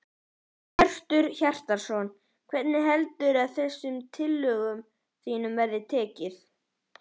Hjörtur Hjartarson: Hvernig heldurðu að þessum tillögum þínum verði tekið?